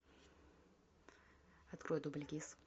открой дубль гис